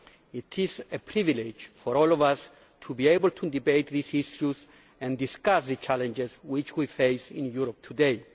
It is a privilege for all of us to be able to debate these issues and discuss the challenges which we face in Europe today.